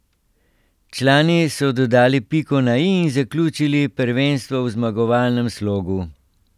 Člani so dodali piko na i in zaključili prvenstvo v zmagovalnem slogu.